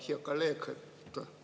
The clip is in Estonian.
Hea kolleeg!